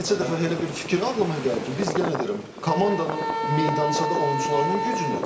Bir neçə dəfə elə bir fikir ağlıma gəlib ki, biz yenə deyirəm, komandanın meydançada oyunçuların gücünü.